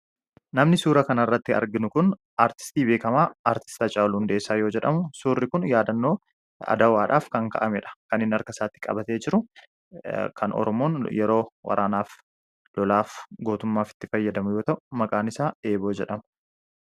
Namni suura kana irratti arginu kun artistii beekamaa aartist hacaaluu hundeessaa yoo jedhamu suurri kun yaadannoo adawwaadhaaf kan ka'amedha. kan inni harka isaatti qabatee jiru kan oromoon yeroo waraanaaf lolaaf gootummaatti fayyadamuu wanta maqaan isaa eeboo jedhamu.